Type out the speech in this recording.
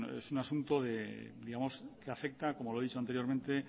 es un asunto que afecta como lo he dicho anteriormente